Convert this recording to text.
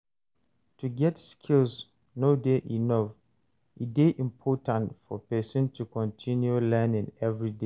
To get skill no de enough e de important for persin to continue learning everyday